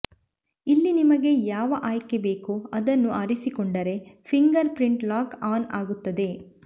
ಇಲ್ಲಿ ನಿಮಗೆ ಯಾವ ಆಯ್ಕೆ ಬೇಕೋ ಅದನ್ನು ಆರಿಸಿಕೊಂಡರೆ ಫಿಂಗರ್ ಪ್ರಿಂಟ್ ಲಾಕ್ ಆನ್ ಆಗುತ್ತದೆ